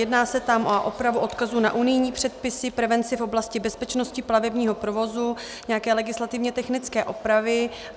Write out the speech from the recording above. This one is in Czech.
Jedná se tam o opravu odkazu na unijní předpisy, prevenci v oblasti bezpečnosti plavebního provozu, nějaké legislativně technické opravy.